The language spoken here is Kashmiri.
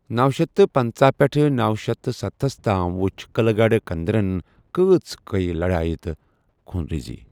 نوَشیتھ تہٕ پٔنژٕھ پیٹھٕہ نو شیتھ تہٕ ستھَس تام وُچھِ قلعہ گڑھ کُندرن كٲژٕ کئی لڑائیہ تہٕ خونریزی ۔